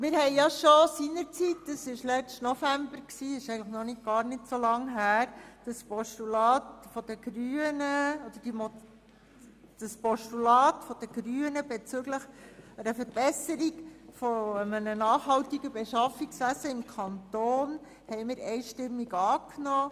Wir nahmen bereits seinerzeit – dies war im letzten November, was noch nicht lange her ist – das Postulat der Grünen bezüglich der Verbesserung eines nachhaltigen Beschaffungswesens im Kanton einstimmig an.